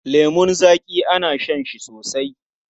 Lemun zaƙi ana shan shi sosai.